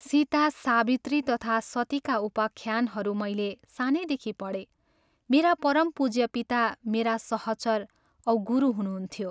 सीता, सावित्री तथा सतीका उपाख्यानहरू मैले सानैदेखि पढेँ मेरा परम पूज्य पिता मेरा सहचर औ गुरु हुनुहुन्थ्यो।